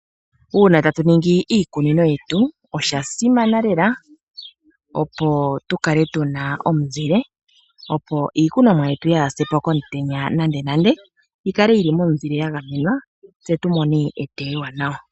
Uuna ta tu ningi iikunino yetu osha simana lela opo tu kale tu na omuzile, opo iikunomwa yetu yaa ha se po komutenya nande nande, yi kale yi li momuzile ya gamenwa, tse tu mone eteyo ewanawa.